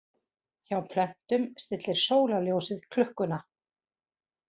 Hjá plöntum stillir sólarljósið klukkuna.